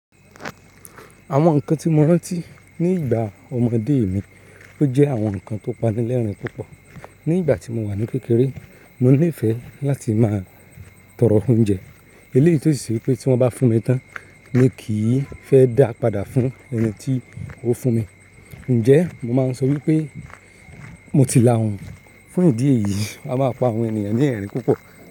Àwọn nǹkan tí mo rántí ní ìgbà ọmọdé mi, ó jẹ́ àwọn nǹkan tó pani lẹ́rìn-ín púpọ̀. Ní ìgbà tí mo wà ní kékeré, mo níìfẹ̀ láti máa tọrọ oúnjẹ. Eléyìí tọ́ sì sí pé tí wọ́n bá fún mi tán, mi kì í fẹ́ dá padà fún ẹni tí ó fún mi. Ǹjẹ́ mo máa ń sọ wípé mo ti la òun. Fún ìdí èyí, a máa pa àwọn ènìyàn ní ẹ̀rín púpọ̀